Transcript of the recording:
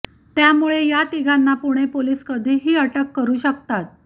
त्यामुळे या तिघांना पुणे पोलीस कधीही अटक करू शकतात